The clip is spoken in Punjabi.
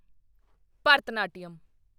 ਭਰਤਨਾਟਿਅਮ